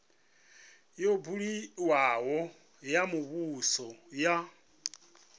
yo buliwaho ya muvhuso ya